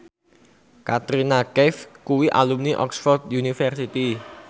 Katrina Kaif kuwi alumni Oxford university